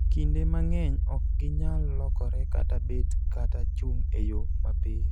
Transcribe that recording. kinde mang'eny ok ginyal lokore kata bet kata chung' e yo mapiyo